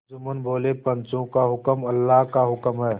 जुम्मन बोलेपंचों का हुक्म अल्लाह का हुक्म है